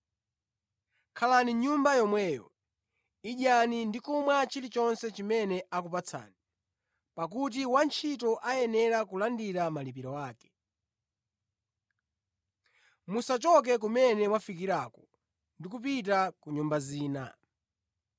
Khalani mʼnyumba yomweyo, idyani ndi kumwa chilichonse chimene akupatsani, pakuti wantchito ayenera kulandira malipiro ake. Musachoke kumene mwafikirako ndi kupita ku nyumba zina.